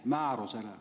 Määrusest.